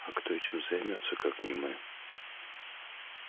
а кто этим займётся как не мы